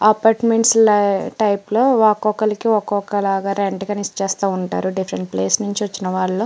apartment type లో ఒక్కొకరికి ఒక్కొక్క లాగా రెంటు కి ఇచ్చేస్తు వుంటారు డిఫరెంట్ ప్లేసు ల నుంచి వచ్చిన వాళ్ళు --